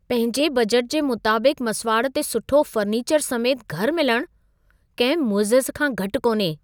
पंहिंजे बजटु जे मुताबिक़ु मसिवाड़ु ते सुठो फ़र्नीचरु समेति घरु मिलणु किंहिं मुइजिज़े खां घटि कोन्हे.